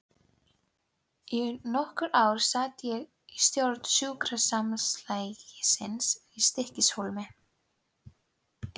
Í nokkur ár sat ég í stjórn sjúkrasamlagsins í Stykkishólmi.